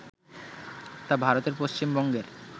তা ভারতের পশ্চিম বঙ্গের